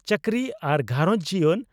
ᱪᱟᱹᱠᱨᱤ ᱟᱨ ᱜᱷᱟᱨᱚᱸᱡᱽ ᱡᱤᱭᱚᱱ